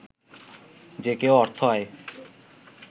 যে কেউ অর্থ আয়